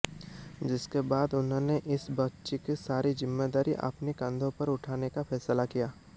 जिसके बाद उन्होंने इस बच्ची की सारी ज़िम्मेदारी अपने कंधों पर उठाने का फैसला किया